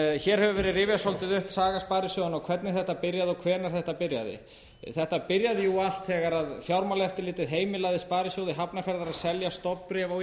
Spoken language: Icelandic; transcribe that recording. hér hefur verið rifjað svolítið upp saga sparisjóðanna og hvernig þetta byrjaði og hvenær þetta byrjaði þetta byrjaði jú allt þegar fjármálaeftirlitið heimilaði sparisjóði hafnarfjarðar að selja stofnbréf á